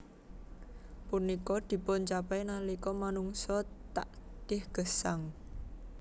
Punika dipuncapai nalika manungsa takdih gesang